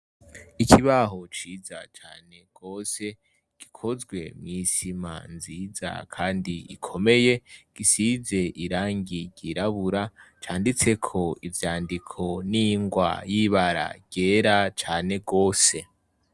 Ikibaho ciza cane gose gikozwe mw'isima nziza kandi ikomeye gisize irangi ryirabura; canditseko ivyandiko n'ingwa y'ibara ryera cane gose.